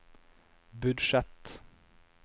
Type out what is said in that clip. budsjett